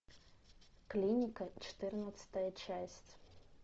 клиника четырнадцатая часть